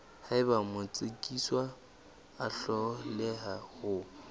haeba motsekiswa a hloleha ho